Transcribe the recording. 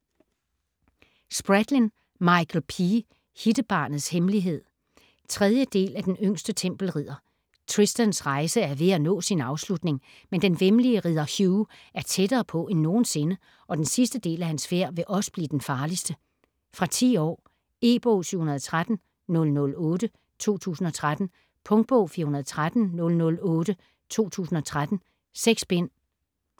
Spradlin, Michael P.: Hittebarnets hemmelighed 3. del af Den yngste tempelridder. Tristans rejse er ved at nå sin afslutning, men den væmmelige ridder Hugh er tættere på end nogensinde, og den sidste del af hans færd vil også blive den farligste. Fra 10 år. E-bog 713008 2013. Punktbog 413008 2013. 6 bind.